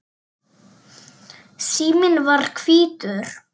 Síminn var hvítur.